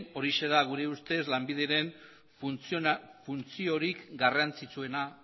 horixe da gure ustez lanbideren funtziorik garrantzitsuena